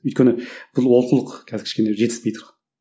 өйткені бұл олқылық қазір кішкене жетіспей тұрған